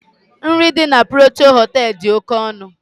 Nri dị na Protịa Họtelu dị oke ọnụ.